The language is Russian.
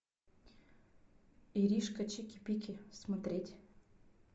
иришка чики пики смотреть